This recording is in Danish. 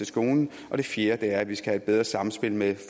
skolen og det fjerde er at vi skal have et bedre samspil med